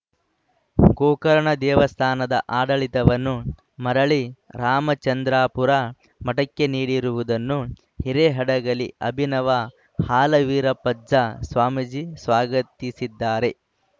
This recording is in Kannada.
ಗೋಕರ್ಣ ದೇವಸ್ಥಾನದ ಆಡಳಿತವನ್ನು ಮರಳಿ ರಾಮಚಂದ್ರಾಪುರ ಮಠಕ್ಕೆ ನೀಡಿರುವುದನ್ನು ಹಿರೇಹಡಗಲಿ ಅಭಿನವ ಹಾಲವೀರಪ್ಪಜ್ಜ ಸ್ವಾಮೀಜಿ ಸ್ವಾಗತಿಸಿದ್ದಾರೆ